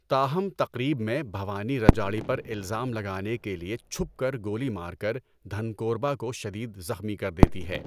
تاہم، تقریب میں، بھوانی رجاڑی پر الزام لگانے کے لیے چھپ کر گولی مار کر دھنکور با کو شدید زخمی کر دیتی ہے۔